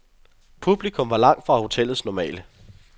Publikum var langt fra hotellets normale.